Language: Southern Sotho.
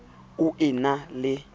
o e na le letshollo